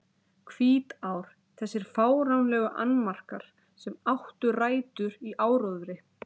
Hvítár Þessir fáránlegu annmarkar, sem áttu rætur í áróðri